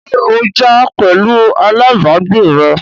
ṣé ó jà pẹ̀lu alábàágbé rẹ̀?